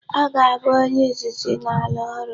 Ọ ga-abụ onye izizi n'ala ọrụ.